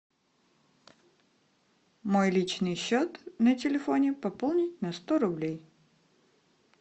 мой личный счет на телефоне пополнить на сто рублей